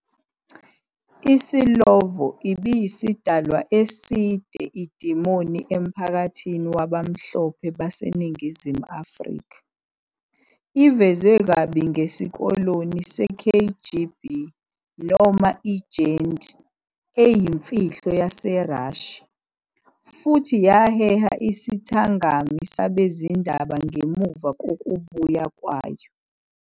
ISlovo ibiyisidalwa eside idemoni emphakathini wabamhlophe baseNingizimu Afrika, ivezwe kabi njengesikoloni se- KGB noma i-ejenti eyimfihlo yaseRussia, futhi yaheha isithangami sabezindaba ngemuva kokubuya kwayo.